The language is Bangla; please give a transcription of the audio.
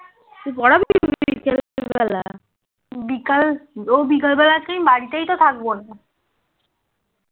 বিকাল ও বিকাল বেলাতে বাড়িতেই তো থাকবো না